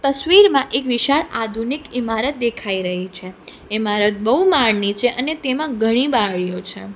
તસવીરમાં એક વિશાળ આધુનિક ઈમારત દેખાઈ રહી છે ઈમારત બહુ માળની છે અને તેમાં ઘણી બાળીઓ છે.